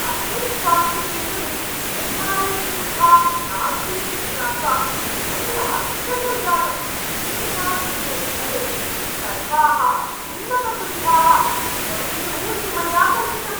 अस्मिन् स्वास्थ्यकेन्द्रे एम्.आर्.ऐ.सुविधा नास्ति इति ज्ञात्वा मयि आश्चर्यं जातम्। एतादृशे स्थले सर्वाः उन्नतसुविधाः भवेयुः इति मया कल्पितम्।